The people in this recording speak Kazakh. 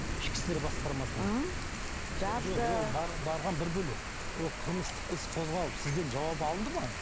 ішкі істер басқармасына жазды барған бір бөлек ол қылмыстық іс қозғалып сізден жауап алынды ма